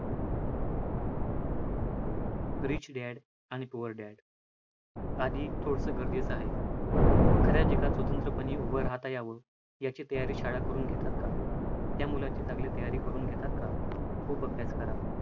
Rich dad आणि poor dad आधी थोडसं गरजेचं आहे, खऱ्या जगात उंचपणे उभ राहता यावं याची तयारी शाळा करून घेतात का, त्या मुलाची चांगली तयारी करून घेतात का, खूप अभ्यास करा.